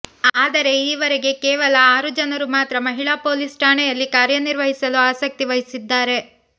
ಆದರೆ ಈವರೆಗೆ ಕೇವಲ ಆರು ಜನರು ಮಾತ್ರ ಮಹಿಳಾ ಪೊಲೀಸ್ ಠಾಣೆಯಲ್ಲಿ ಕಾರ್ಯ ನಿರ್ವಹಿಸಲು ಆಸಕ್ತಿ ವಹಿಸಿದ್ದಾರೆ